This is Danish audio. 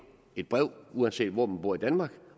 et brev uanset hvor man bor i danmark